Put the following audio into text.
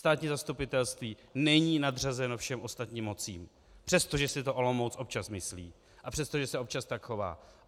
Státní zastupitelství není nadřazeno všem ostatním mocím, přestože si to Olomouc občas myslí a přesto, že se občas tak chová.